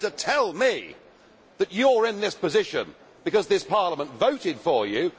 And to tell me that you are in this position because this Parliament voted for you!